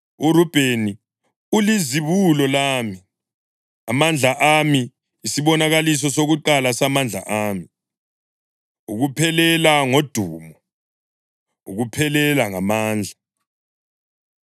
URubheni, ulizibulo lami, amandla ami, isibonakaliso sokuqala samandla ami, ukuphelela ngodumo, ukuphelela ngamandla.